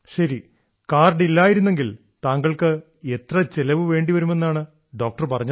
ശരി കാർഡ് ഇല്ലാതിരുന്നെങ്കിൽ താങ്കൾക്ക് എത്ര ചെലവ് വേണ്ടിവരുമെന്നാണ് ഡോക്ടർ പറഞ്ഞത്